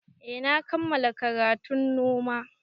Eh na kammala karatun noma